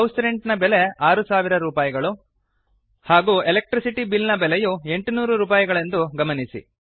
house rent ನ ಬೆಲೆ 6000 ರೂಪಾಯಿಗಳು ಹಾಗು ಎಲೆಕ್ಟ್ರಿಸಿಟಿ ಬಿಲ್ ನ ಬೆಲೆಯು 800 ರೂಪಾಯಿಗಳೆಂದು ಗಮನಿಸಿ